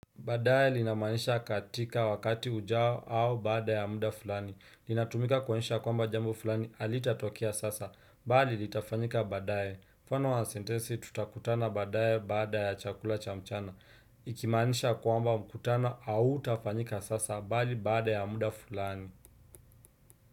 Baadaye linamanisha katika wakati ujao au baada ya muda fulani. Linatumika kuonyesha kwamba jambo fulani halitatokea sasa, bali litafanyika baadaye. Mfano wa sentensi tutakutana baadaye baada ya chakula cha mchana. Ikimaanisha kwamba mkutano hautafanyika sasa, bali baada ya muda fulani.